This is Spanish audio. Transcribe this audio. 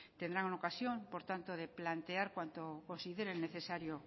tendrán ocasión por tanto de plantear cuanto consideren necesario